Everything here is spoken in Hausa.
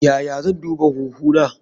Yaya zan duba huhu na?